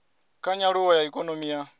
kha nyaluwo ya ikonomi ya